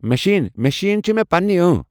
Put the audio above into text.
machine machine چھ مےٚ پننی ٲنٛۍ